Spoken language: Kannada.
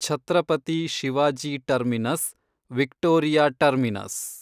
Chhatrapati Shivaji terminus, Victoria terminus